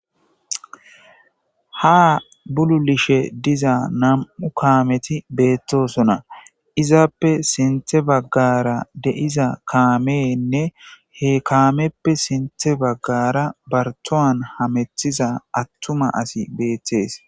ha bululishe diza nam7u kaameti beettosona izaappe sinthe baggara de7iza kaameenne he kaameppe sinthe baggara bartoan hamethiza attuma asi beettees.